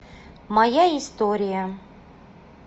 моя история